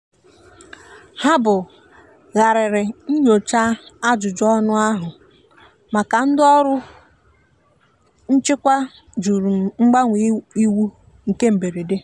ha bu ghariri nnyocha ajụjụ ọnụ ahu maka ndi ọrụ nchịkwa jụrụ mgbanwe iwu nke mgberede.